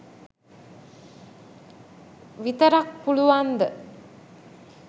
විතරක් පුළුවන්ද?